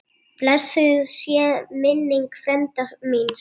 Blessuð sé minning frænda míns.